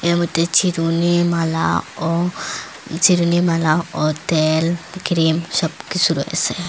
এর মধ্যে চিরুনি মালা ও চিরুনি মালা ও তেল ক্রিম সবকিসু রয়েসে।